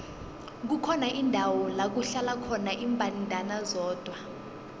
kukhona indawo lakuhlala khona imbandana zodwa